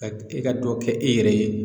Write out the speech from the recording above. Ka i ka dɔ kɛ e yɛrɛ ye